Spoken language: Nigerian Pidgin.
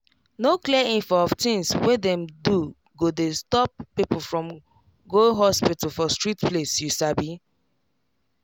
no clear info of things we dem do go dey stop people from go hospital for strict place you sabi